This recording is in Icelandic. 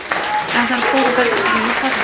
eða þegar stórar bergskriður falla.